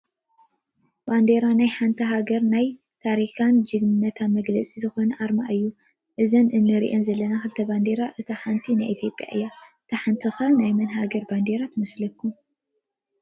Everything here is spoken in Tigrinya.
ባንዴራ ናይ ሓንቲ ሃገር ናይ ታሪክን ጅግንነትን መግለፂኣ ዝኾነ ኣርማ እዩ፡፡ እዞም ንሪኦም ዘለና ክልተ ባንዴራታት እቲ ሓደ ናይ ኢ/ያ እዩ፡፡ እታ ሓንቲ ኸ ናይ መን ሃገር ባንዴራ ትመስለኩም?